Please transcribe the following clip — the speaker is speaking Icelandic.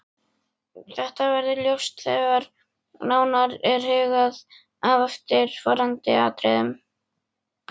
Þetta verður ljóst þegar nánar er hugað að eftirfarandi atriðum